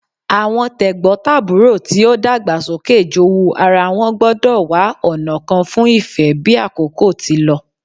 Awọn tegbotaburo ti o dagba soke jowú ara wọn gbọdọ wa ọna kan fun ife bi akoko ti lọ